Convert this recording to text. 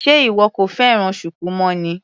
Sé ìwọ kò fẹ́ràn shuku mọ́ ni.